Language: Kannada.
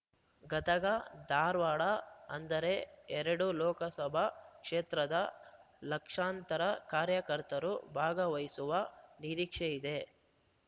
ಗದಗ ಧಾರವಾಡ ಅಂದರೆ ಎರಡು ಲೋಕಸಭಾ ಕ್ಷೇತ್ರದ ಲಕ್ಷಾಂತರ ಕಾರ್ಯಕರ್ತರು ಭಾಗವಹಿಸುವ ನೀರಿಕ್ಷೆಯಿದೆ